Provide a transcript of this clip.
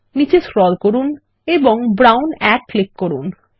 নীচে স্ক্রোল করুন এবং ব্রাউন 1 ক্লিক করুন